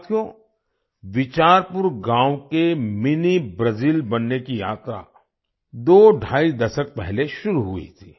साथियो बिचारपुर गांव के मिनी ब्राजिल बनने की यात्रा दोढाई दशक पहले शुरू हुई थी